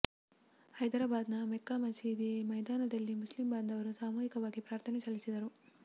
ಹೈದ್ರಾಬಾದ್ ನ ಮೆಕ್ಕಾ ಮಸೀದಿ ಮೈದಾನದಲ್ಲಿ ಮುಸ್ಲಿಂ ಬಾಂಧವರು ಸಾಮೂಹಿಕವಾಗಿ ಪ್ರಾರ್ಥನೆ ಸಲ್ಲಿಸಿದರು